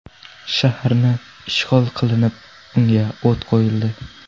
Shaharni ishg‘ol qilinib, unga o‘t qo‘yildi.